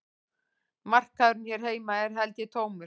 Markaðurinn hér heima er held ég tómur